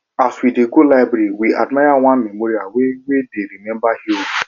as we dey go library we admire one memorial wey wey dey remember heroes